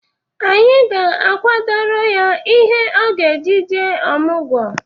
Anyị ga-akwadoro ya ihe ọ ga-eji jee ọmụgọ.